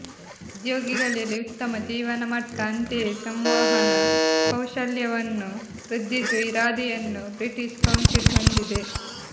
ಉದ್ಯೋಗಿಗಳಲ್ಲಿ ಉತ್ತಮ ಜೀವನಮಟ್ಟ ಅಂತೆಯೇ ಸಂವಹನ ಕೌಶಲ್ಯವನ್ನು ವೃದ್ಧಿಸುವ ಇರಾದೆಯನ್ನು ಬ್ರಿಟೀಷ್ ಕೌನ್ಸಿಲ್ ಹೊಂದಿದೆ